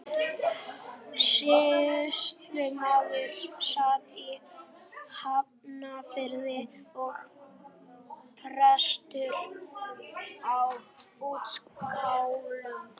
Sýslumaðurinn sat í Hafnarfirði og presturinn á Útskálum.